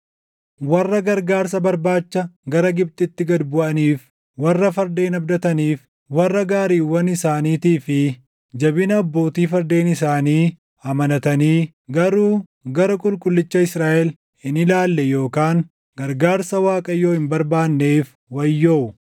Warra gargaarsa barbaacha gara Gibxitti gad buʼaniif, warra fardeen abdataniif warra gaariiwwan isaaniitii fi jabina abbootii fardeen isaanii amanatanii garuu gara Qulqullicha Israaʼel hin ilaalle yookaan gargaarsa Waaqayyoo hin barbaanneef wayyoo.